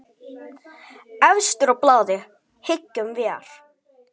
Efstur á blaði, hyggjum vér.